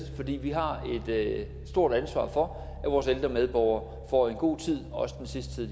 fordi vi har et stort ansvar for at vores ældre medborgere får en god tid også den sidste tid